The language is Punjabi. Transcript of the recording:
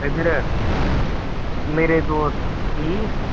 ਇੱਧਰ ਮੇਰੇ ਦੋਸਤ ਸੀ